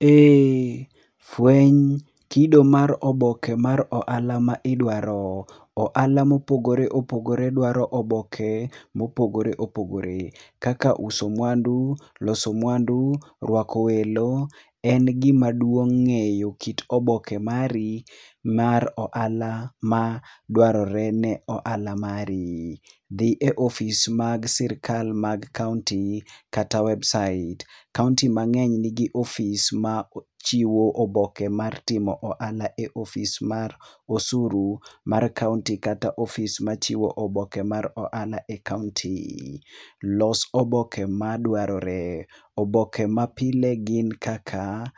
Eeh, fweny kido mar oboke mar ohala midwaro. Ohala mopogore opogore dwaro oboke ma opogore opogore. Kaka uso mwandu, loso mwandu, rwako welo, en gima duong ngeyo kit oboke mari mar ohala ma dwarore ne ohala mari. Dhi e ofis mar sirkand kaunti mari kata website. Kaunti mangeny nigi ofis machiwo oboke mar timo ohala e ofis mar osuru mar kaunti kata ofis machiwo oboke ma rohala e kaunti. Los oboke madwaroe, oboke ma pile gin kaka